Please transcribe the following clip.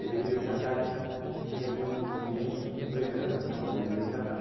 Ele veio para cá, devia ter uns vinte e dois anos, quando ele veio para cá.